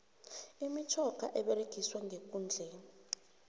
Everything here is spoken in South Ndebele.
imitjhoga eberegiswa ndekundleni